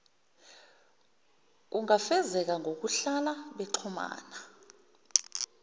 kungafezeka ngokuhlala bexhumana